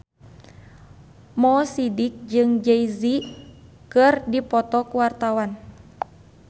Mo Sidik jeung Jay Z keur dipoto ku wartawan